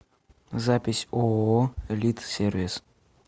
запись ооо элит сервис